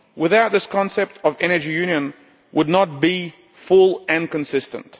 Without this concept, the energy union would not be full and consistent.